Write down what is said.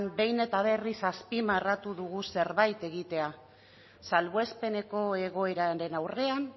behin eta berriz azpimarratu dugu zerbait egitea salbuespeneko egoeraren aurrean